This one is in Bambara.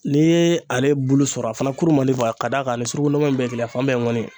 N'i ye ale bulu sɔrɔ a fana kuru man di ka d'a ni sugurunman in bɛɛ la fan bɛɛ mɔni.